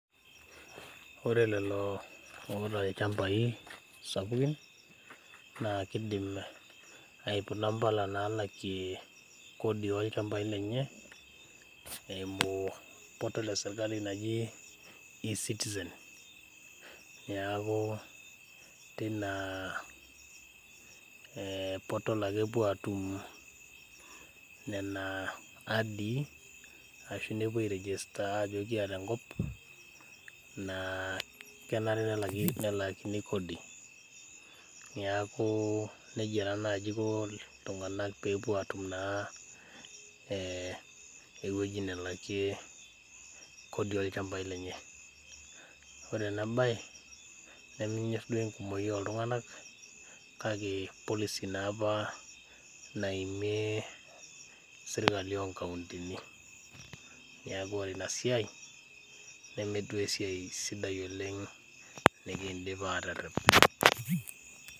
Ore lelo oota ilchambai sapukin naa kidim aiputa impala nalakie kodi olchambai lenye eimu portal esirkali naji e citizen neku tina portal ake epuo atum nena adii ashu nepuo ae register ajo kiata enkop naa kenare nelaakini kodi niaku nejia taa naji iko iltung'anak pepuo atum naa eh ewueji nelakie kodi olchambai lenye ore ena baye nemenyorr duo enkumoki oltung'anak kake policy naapa naimie sirkali onkauntini niaku ore ina siai neme duo esiai sidai oleng nikindim aterrep.